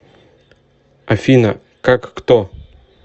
афина как кто